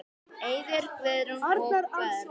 Eiður, Guðrún og börn.